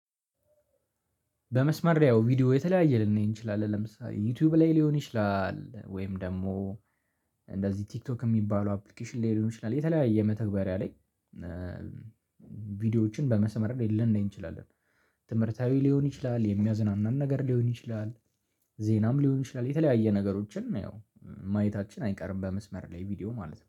በመስማሪያው ቪዲዮ የተለያየ ልናይ እንችላለን ለምሳሌ ዩትዩብ ላይ ሊሆን ይችላል ወይም ደግሞ እንደዚህ ቲክቶክ እሚባለው አፕሊኬሽን ላይ ሊሆን ይችላል። የተለያየ መተግበሪያ ላይ ቪዲዮዎችን በመስመር ላይ ልናይ እንችላለን። ትምህርታዊ ሊሆን ይችላል፣ የሚያዝናናን ነገር ሊሆን ይችላል። ዜናም ሊሆን ይችላል የተለያየ ነገሮችን ያው ማየታችን አይቀርም በመስመር ላይ ቪዲዮ ማለት ነው።